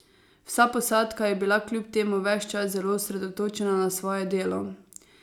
Vsa posadka je bila kljub temu ves čas zelo osredotočena na svoje delo.